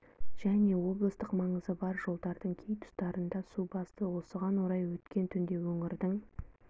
және облыстық маңызы бар жолдардың кей тұстарын да су басты осыған орай өткен түнде өңірдің